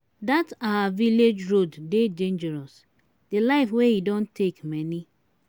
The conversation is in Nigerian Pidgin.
dat our village road dey dangerous. the life wey e don take many.